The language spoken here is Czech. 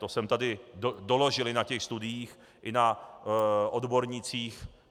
To jsem tady doložil i na těch studiích i na odbornících.